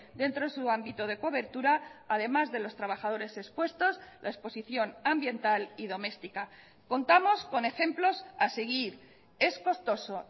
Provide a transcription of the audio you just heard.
dentro de su ámbito de cobertura además de los trabajadores expuestos la exposición ambiental y doméstica contamos con ejemplos a seguir es costoso